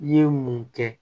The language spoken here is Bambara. I ye mun kɛ